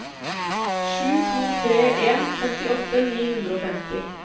sju to tre en femtiåtte ni hundre og femti